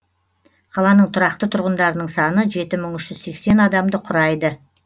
қаланың тұрақты тұрғындарының саны жеті мың үш жүз сексен адамды құрайды